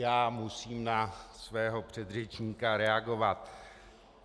Já musím na svého předřečníka reagovat.